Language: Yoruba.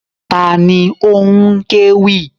Ta ni ó ń kéwì?